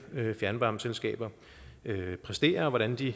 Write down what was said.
fjernvarmeselskaber præsterer og hvordan de